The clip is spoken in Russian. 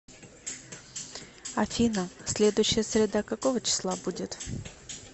афина следующая среда какого числа будет